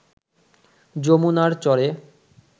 যমুনার চরে